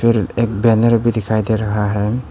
फिर एक बैनर भी दिखाई दे रहा है।